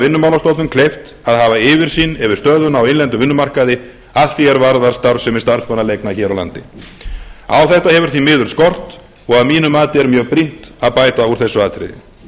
vinnumálastofnun kleift að hafa yfirsýn yfir stöðuna á innlendum vinnumarkaði að því er varðar starfsemi starfsmannaleigna hér á landi á þetta hefur því miður skort og að mínu mati er mjög brýnt að bæta úr þessu atriði